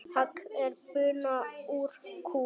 Hagl er buna úr kú.